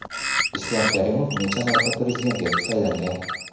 Islom Karimov necha marta Prezident etib saylangan?